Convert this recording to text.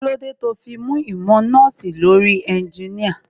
Kílódé tó fi mú ìmọ̀ nọ́ọ̀sì lórí ẹnginíàrìn?